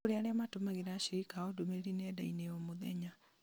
nĩ kũrĩ aria matũmagĩra ashirika ao ndũmĩrĩri nendainĩ o mũthenya